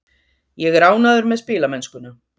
Ég er ánægður með spilamennskuna.